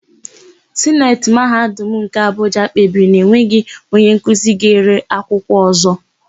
Sineti Mahadum nke Abụja kpebiri na enweghị onyenkuzi ga-ere akwụkwọ ọ̀zọ́.